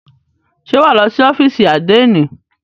Ṣé wà á lọ sí ófìsì àdénì?